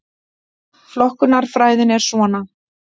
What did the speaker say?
Flokkunarfræðin er svona: